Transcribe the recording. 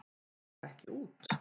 Fara ekki út